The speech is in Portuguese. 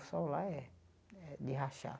O sol lá é é de rachar.